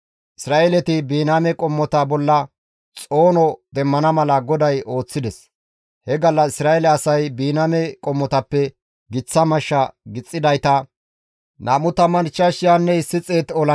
Isra7eeleti Biniyaame qommota bolla xoono demmana mala GODAY ooththides. He gallas Isra7eele asay Biniyaame qommotappe giththa mashsha gixxidayta 25,100 olanchchata wodhida.